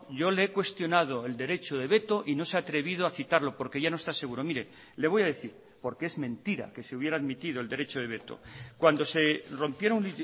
yo le he cuestionado el derecho de veto y no se ha atrevido a citarlo porque ya no está seguro mire le voy a decir porque es mentira que se hubiera admitido el derecho de veto cuando se rompieron